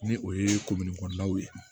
Ni o ye kɔnɔnaw ye